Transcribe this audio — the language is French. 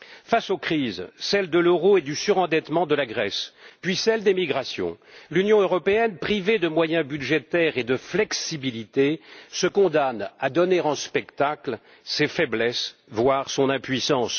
Face aux crises, celle de l'euro et du surendettement de la Grèce, puis celle des migrations, l'Union européenne, privée de moyens budgétaires et de flexibilité, se condamne à donner en spectacle ses faiblesses, voire son impuissance.